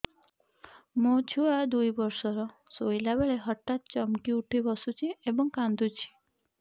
ମୋ ଛୁଆ ଦୁଇ ବର୍ଷର ଶୋଇଲା ବେଳେ ହଠାତ୍ ଚମକି ଉଠି ବସୁଛି ଏବଂ କାଂଦୁଛି